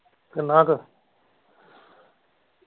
ਕਿੰਨਾ ਕ